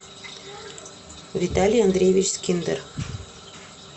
виталий андреевич скиндер